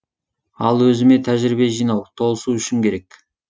ал өзіме тәжірибе жинау толысу үшін керек